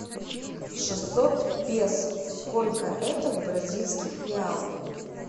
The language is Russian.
шестьсот песо сколько это в бразильских реалах